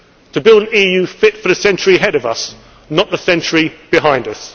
new era to build an EU fit for the century ahead of us, not the century behind